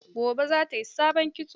Gobe za ta yi sabon kitso.